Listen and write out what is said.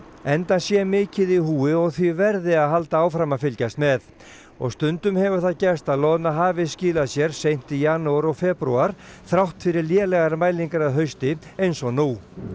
enda sé mikið í húfi og því verði að halda áfram að fylgjast með og stundum hefur það gerst að loðna hafi skilað sér seint í janúar og febrúar þrátt fyrir lélegar mælingar að hausti eins og nú